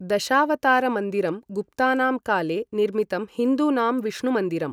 दशावतारमन्दिरं गुप्तानां काले निर्मितं हिन्दूनां विष्णुमन्दिरम्।